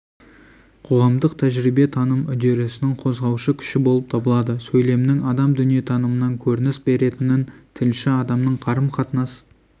қоғамдық тәжірибе таным үдерісінің қозғаушы күші болып табылады сөйлемнің адам дүниетанымынан көрініс беретінін тілші адамның қарым-қатынас